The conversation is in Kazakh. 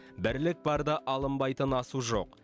бірлік барда алынбайтын асу жоқ